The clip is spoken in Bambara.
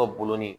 Dɔw bolonɔ